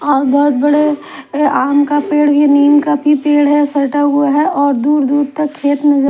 और बहुत बड़े नीम का भी पेड़ है सटा हुआ है और दूर दूर तक खेत नजर--